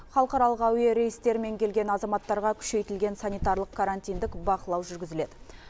халықаралық әуе рейстерімен келген азаматтарға күшейтілген санитарлық карантиндік бақылау жүргізіледі